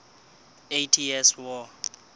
eighty years war